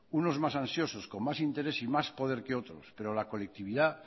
unos más ansiosos con más interés y más poder que otros pero la colectividad